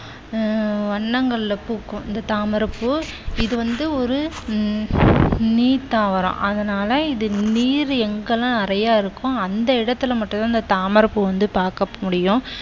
ஆஹ் வண்ணங்களில் பூக்கும் இந்த தாமரை பூ இது வந்து ஒரு நீர் தாவரம். அதனால இது நீர் எங்கெல்லாம் நிறைய இருக்கோ அந்த இடத்துல மட்டும்தான் இந்த தாமரை பூ வந்து பார்க்க முடியும்.